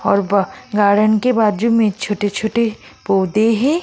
और ब गार्डन के बाजू में छोटे-छोटे पौधे हैं।